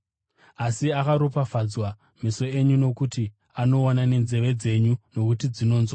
Asi akaropafadzwa meso enyu nokuti anoona nenzeve dzenyu nokuti dzinonzwa.